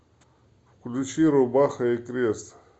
включи рубаха и крест